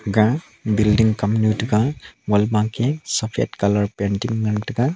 aga building kamnu thega wall ma ke saphat colour painting ngan tega.